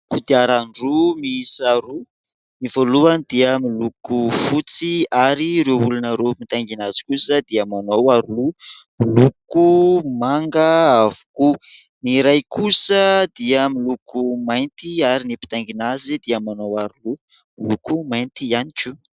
Kodiaran-droa miisa roa : ny voalohany dia miloko fotsy ary ireo olona ireo mitaingina azy kosa dia manao aroloha miloko manga avokoa ; ny iray kosa dia miloko mainty ary ny mpitaingina azy dia manao aroloha miloko mainty ihany koa.